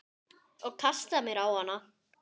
Og kasta mér á hana.